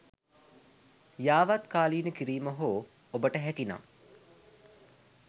යාවත්කාලින කිරීම හෝ ඔබට හැකිනම්